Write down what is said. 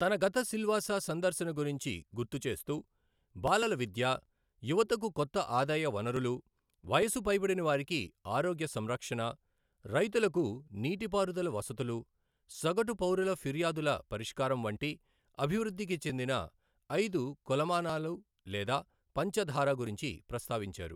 తన గత సిల్వాసా సందర్శన గురించి గుర్తు చేస్తూ బాలల విద్య, యువతకు కొత్త ఆదాయ వనరులు, వయసు పైబడిన వారికి ఆరోగ్య సంరక్షణ, రైతులకు నీటి పారుదల వసతులు, సగటు పౌరుల ఫిర్యాదుల పరిష్కారం వంటి అభివృద్ధికి చెందిన ఐదు కొలమానాలు లేదా పంచధార గురించి ప్రస్తావించారు.